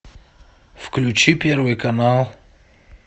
включи первый канал